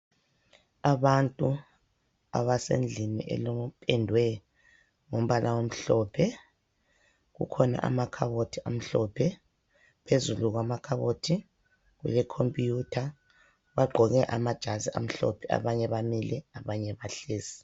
Abantu abasendlini elokupendwe ngumbala omhlophe .Kukhona amakhabothi amhlophe. Phezulu kwamakhabothi kule computer. Bagqoke amajazi amhlophe, abanye bamile abanye bahlezi.